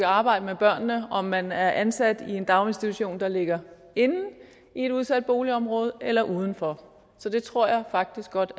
arbejde med børnene uanset om man er ansat i en daginstitution der ligger inde i et udsat boligområde eller uden for det tror jeg faktisk godt